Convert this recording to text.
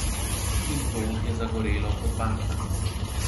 In to je zagorelo kot bakla.